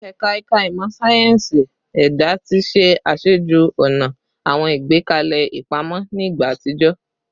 Ẹ̀ka Ẹ̀ka Ìmọ̀ sáyẹ́ǹsì Ẹ̀dá ti ṣe aṣáájú-ọ̀nà àwọn ìgbékalẹ̀ ìpamọ́ ní ìgbà àtijọ́